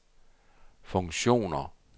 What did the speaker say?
funktioner